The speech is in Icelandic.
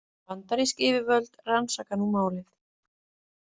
Bandarísk yfirvöld rannsaka nú málið